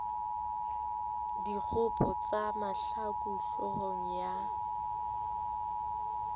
dikgopo tsa mahlaku hloohong ya